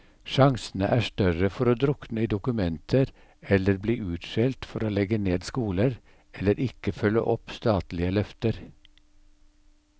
Sjansene er større for å drukne i dokumenter eller bli utskjelt for å legge ned skoler, eller ikke følge opp statlige løfter.